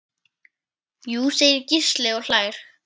Jú segir Gísli og hlær.